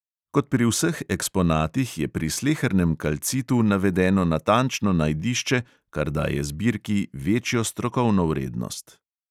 Kot pri vseh eksponatih je pri slehernem kalcitu navedeno natančno najdišče, kar daje zbirki večjo strokovno vrednost.